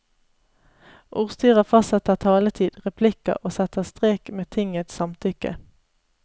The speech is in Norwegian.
Ordstyrer fastsetter taletid, replikker og setter strek med tingets samtykke.